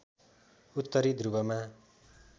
उत्तरी ध्रुवमा